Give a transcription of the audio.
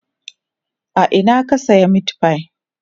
a Ina ka saya meatfie?